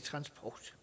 transport